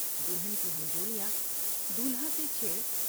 دلہن کی ہمجولیاں دولہا سے چھیٹر